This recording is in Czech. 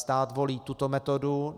Stát volí tuto metodu.